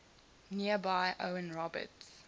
nearby owen roberts